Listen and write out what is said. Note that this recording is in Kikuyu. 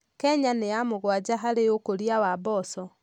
Kenya nĩ ya mũgwanja harĩ ũkũria wa mboco.